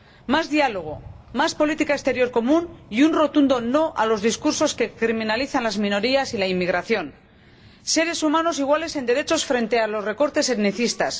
más diálogo, más política exterior común y un rotundo no a los discursos que criminalizan a las minorías y a la inmigración seres humanos iguales en derechos frente a los recortes etnicistas.